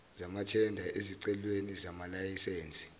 zamathenda ezicelweni zamalayisense